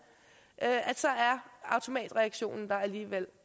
er automatreaktionen der alligevel